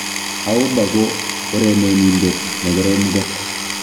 Auba ko urenenindet nekorom kot.